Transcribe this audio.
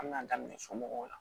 An bɛna daminɛ somɔgɔw la